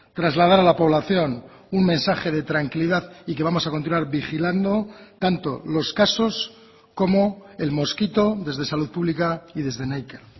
trasladar a la población un mensaje de tranquilidad y que vamos a continuar vigilando tanto los casos como el mosquito desde salud pública y desde neiker